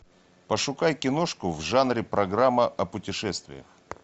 пошукай киношку в жанре программа о путешествиях